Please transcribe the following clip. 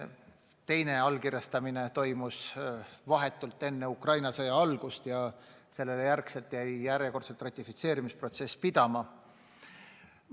Teine allkirjastamine toimus vahetult enne Ukraina sõja algust ja pärast seda jäi ratifitseerimisprotsess järjekordselt pidama.